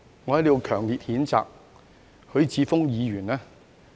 我在此要強烈譴責許智峯議員。